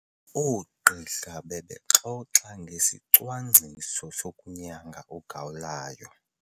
Oogqirha bebexoxa ngesicwangciso sokunyanga ugawulayo.